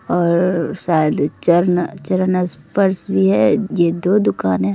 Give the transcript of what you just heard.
और शायद चरण-चरण स्पर्श भी है ये दो दुकाने--